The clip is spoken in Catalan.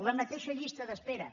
la mateixa llista d’espera